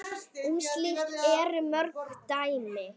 Um slíkt eru mörg dæmi.